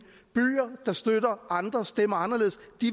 der støtter andre stemmer anderledes